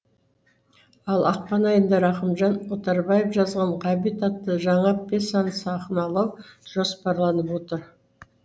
ал ақпан айында рақымжан отарбаев жазған ғабит атты жаңа пьеса сахналау жоспарланып отыр